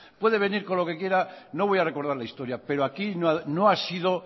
puede venir con lo que quiera no voy a recordar la historia pero aquí no ha sido